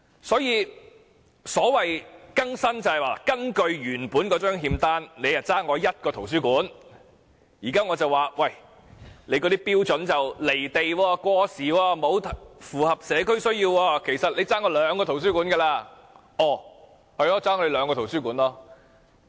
所以，所謂"更新"就是根據原本的欠單，政府本來欠市民一個圖書館，但我現在認為這標準"離地"、過時，並不符合社區需要，其實政府應該欠市民兩個圖書館。